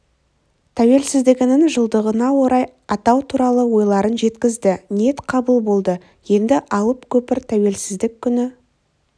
тәуелсіздігінің жылдығына орай атау туралы ойларын жеткізді ниет қабыл болды енді алып көпір тәуелсіздік күні